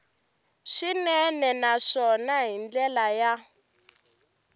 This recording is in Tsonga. swinene naswona hi ndlela ya